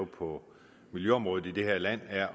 på miljøområdet i det her land er